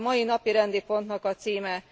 Ez a mai napirendi pontnak a címe.